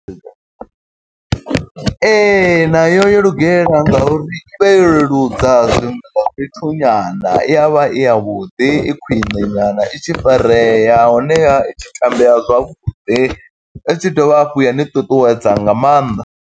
Ee, nayo yo lugela nga uri i vha yo leludza zwiṅwe zwa fhethu nyana. I ya vha i ya vhuḓi, i khwiṋe nyana, i tshi farea. Honeha i tshi tambea zwavhuḓi, i tshi dovha hafhu ya ni ṱuṱuwedza nga mannḓa.